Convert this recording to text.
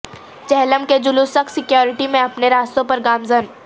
چہلم کے جلوس سخت سیکیورٹی میں اپنے راستوں پر گامزن